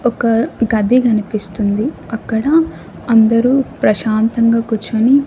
ఒక గది కనిపిస్తుంది అక్కడ అందరూ ప్రశాంతంగా కుర్చొని--